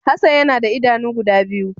Hassan ya na da idanu guda biyu.